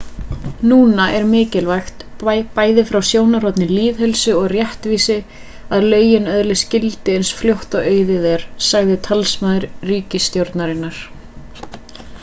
núna er mikilvægt bæði frá sjónarhorni lýðheilsu og réttvísi að lögin öðlist gildi eins fljótt og auðið er sagði talsmaður ríkisstjórnarinnar